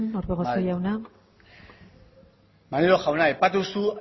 joan orbegozo jauna bai maneiro jauna aipatu duzu